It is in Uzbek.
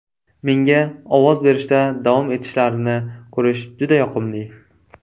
Menga ovoz berishda davom etishlarini ko‘rish juda yoqimli.